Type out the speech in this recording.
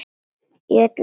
Í öllu þessu standi.